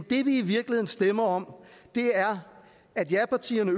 det vi i virkeligheden stemmer om er at japartierne